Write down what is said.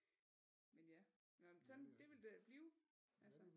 Men ja nå men sådan det vil det blive altså